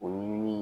O ɲini